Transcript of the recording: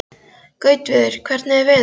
Gautviður, hvernig er veðurspáin?